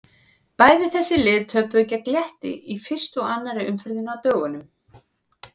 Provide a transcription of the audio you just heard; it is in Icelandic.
Bæði þessi lið töpuðu gegn Létti í fyrstu og annarri umferðinni á dögunum.